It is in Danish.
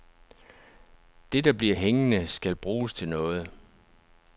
Det, der bliver hængende, skal bruges til noget.